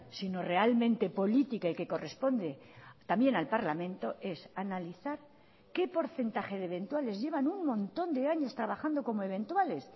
sino realmente política y que corresponde también al parlamento es analizar qué porcentaje de eventuales llevan un montón de años trabajando como eventuales